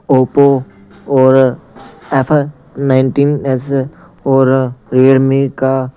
Oppo और F nineteen S और Realme का--